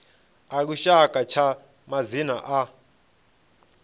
a lushaka tsha madzina a